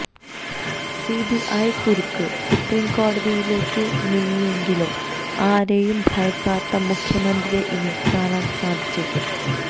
CBI കുരുക്ക് സുപ്രീംകോടതിയിലേക്ക് നീങ്ങിയെങ്കിലും ആരെയും ഭയക്കാത്ത മുഖ്യമന്ത്രിയെ ഇനി കാണാൻ സാധിച്ചേക്കും